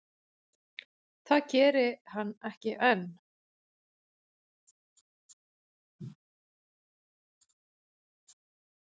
Það geri hann ekki enn.